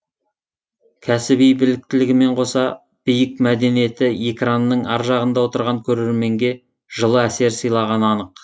кәсіби біліктілігімен қоса биік мәдениеті экранның ар жағында отырған көрерменге жылы әсер сыйлағаны анық